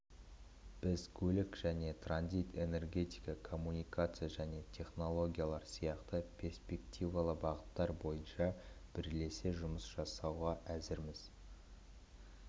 біз көлік және транзит энергетика коммуникация және технологиялар сияқты перспективалы бағыттар бойынша бірлесе жұмыс жасауға әзірміз